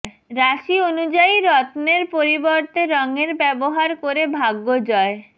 রাশি অনুযায়ী রত্নের পরিবর্তে রঙের ব্যবহার করে ভাগ্য জয়